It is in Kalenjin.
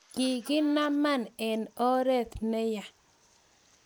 kakinaman eng oree ne ya